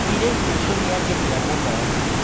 Mũirĩtu ũcio nĩ angenia mũno.